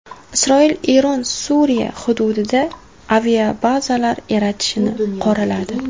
Isroil Eron Suriya hududida aviabazalar yaratishini qoraladi.